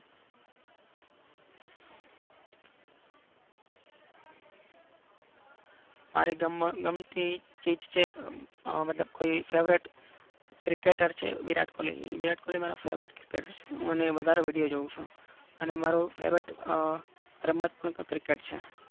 મારી મન ગમતી ચીજ છે મતલબ કે કોઈ favorite cricketer છે વિરાટ કોહલી વિરાટ કોહલી મારો favorite cricketer હું અને વધારે video જોવું ચુ. અને મારો favorite રમત પણ cricket છે.